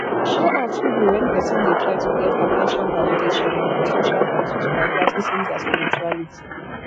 show off fit be when person dey try to get at ten tion validation or for social status by practicing their spirituality